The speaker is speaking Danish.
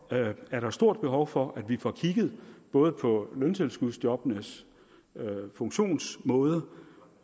er der stort behov for at vi får kigget både på løntilskudsjobbenes funktionsmåde